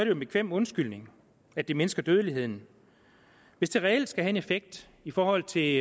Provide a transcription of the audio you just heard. jo en bekvem undskyldning at det mindsker dødeligheden hvis det reelt skal have en effekt i forhold til